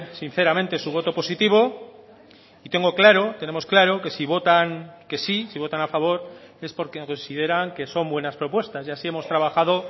sinceramente su voto positivo y tengo claro tenemos claro que si votan que sí si votan a favor es porque consideran que son buenas propuestas y así hemos trabajado